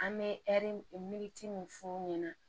An bɛ ɛri miiri min f'u ɲɛna